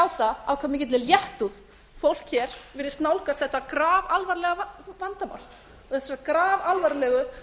af hve mikilli léttúð fólk hér virðist nálgast þetta grafalvarlega vandamál og þessa grafalvarlegu